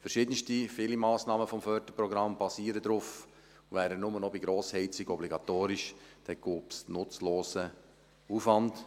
Verschiedenste, viele Massnahmen des Förderprogramms basieren darauf, und wären sie nur noch bei Grossheizungen obligatorisch, dann gäbe es einen nutzlosen Aufwand.